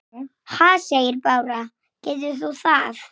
Nei hættu nú!